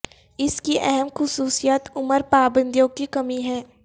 اس کی اہم خصوصیت عمر پابندیوں کی کمی ہے